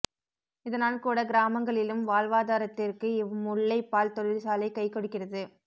இதனால் கூட கிராமங்களிலும் வாழ்வாதாரத்திற்கு இவ் முல்லை பால் தொழிற்சாலை கை கொடுக்கிறது